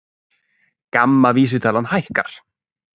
GAMMA vísitalan hækkar